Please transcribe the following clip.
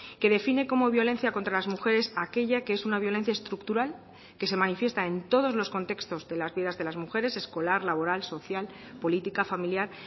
que define como violencia contra las mujeres aquella que es una violencia estructural que se manifiesta en todos los contextos de las vidas de las mujeres escolar laboral social política familiar